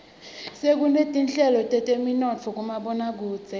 sekunetinhlelo teteminotfo kumaboakudze